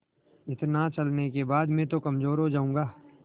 इतना चलने के बाद मैं तो कमज़ोर हो जाऊँगा